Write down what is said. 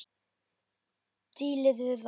Dílið við það!